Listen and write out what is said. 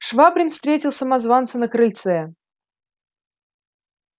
швабрин встретил самозванца на крыльце